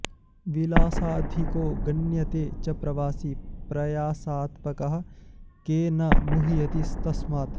विलासाधिको गण्यते च प्रवासी प्रयासात्पकः के न मुह्यति तस्मात्